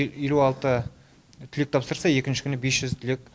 елу алты түлек тапсырса екінші күні бес жүз түлек